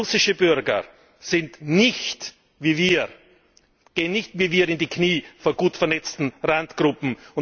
Russische Bürger sind nicht wie wir, gehen nicht wie wir in die Knie vor gut vernetzten Randgruppen.